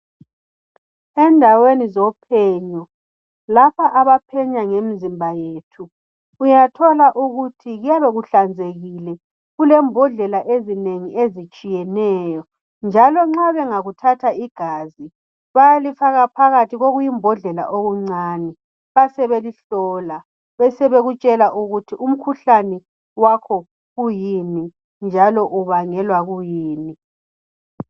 Endaweni zophenyo lapha abaphenya ngemizimba yethu uyathola ukuthi kuyabe kuhlanzekile kulembodlela ezinengi ezitshiyeneyo njalo nxa bengakuthatha igazi bayalifaka phakathi kokuyimbodlela okuncane basebelihlola bebesebekutshela ukuthi umkhuhlane wakho kuyini njalo ubangelwa kuyini.